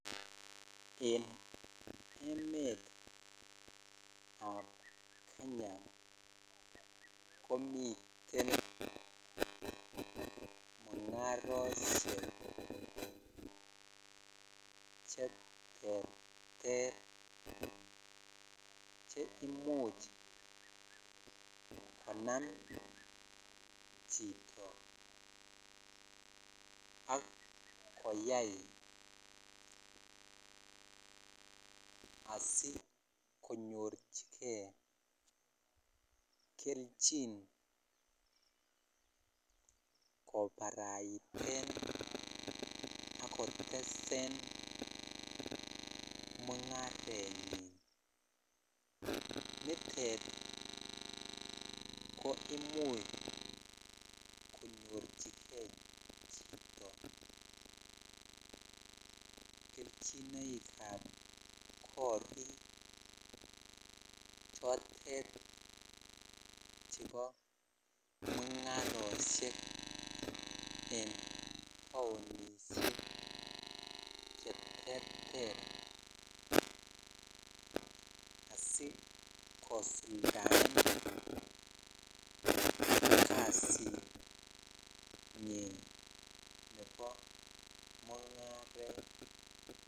En emet ab Kenya komiten mungaroshek che terter che imuch konam chito ak koyai asikonyochikei kelchin kobaraiten akotesen mungarenyin nitet ko imuch konyorchikei chito kelchinoik ab korik chotet chebo mungaroshek en taonishek cheterter asikosuldaen kasit nyin nebo mungaret.